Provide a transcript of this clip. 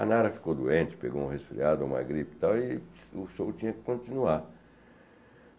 A Nara ficou doente, pegou uma resfriada, uma gripe e tal, e o show tinha que continuar.